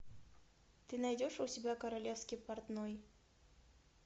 ты найдешь у себя королевский портной